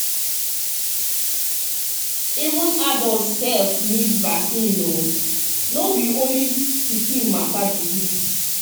um even adult sef need vaccine o no be only pikin matter be this.